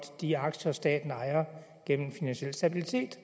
de aktier staten ejer gennem finansiel stabilitet